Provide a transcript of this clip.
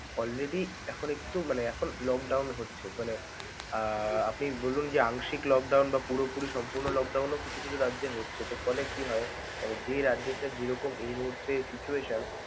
already এখন একটু মানে এখন lockdown হচ্ছে, মানে আহ আপনি বলুন যে আংশিক lockdown বা পুরোপুরি সম্পূর্ণ lockdown ও কিছু কিছু রাজ্যে হচ্ছে. তো ফলে কি হয়, মানে যে রাজ্যে তার যেরকম এই মুহূর্তে situation ।